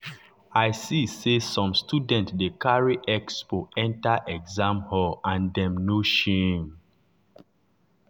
i see say some students dey carry expo enter exam hall and them no shame.